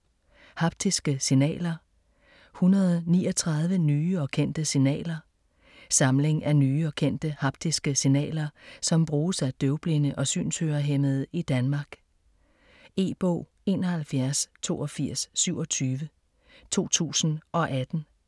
Haptiske signaler: 139 nye og kendte signaler Samling af nye og kendte haptiske signaler, som bruges af døvblinde og synshørehæmmede i Danmark. E-bog 718227 2018.